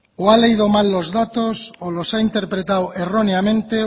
o ha leído mal los datos o los ha interpretado erróneamente